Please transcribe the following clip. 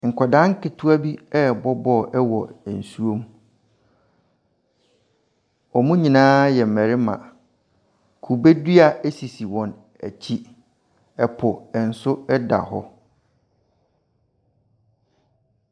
Nkwadaa nketewa bi rebɔ ball wɔ nsuom. Wɔn nyinaa yɛ mmarima. Kubedua sisi wɔn akyi. Ɛpo nso ɛda hɔ.